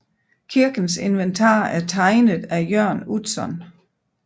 Kirkens inventar er tegnet af Jørn Utzon